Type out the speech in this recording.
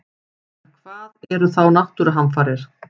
En hvað eru þá náttúruhamfarir?